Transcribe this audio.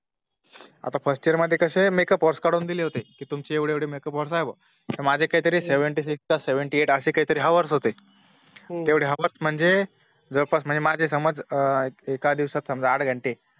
आता First year मध्ये कसे MAkeup hours काढून दिले होते कि तुमचे एवढे एवढे makeup hours आहेत बुवा तर माझे काही Seventy six seventy eight असे काहीतरी Hours होते तेवढे Hours म्हणजे जवळ पास माझे समजा एका दिवसाचे आठ घंटे